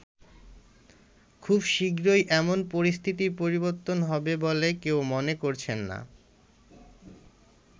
খুব শিগগিরই এমন পরিস্থিতির পরিবর্তন হবে বলে কেউ মনে করছে না।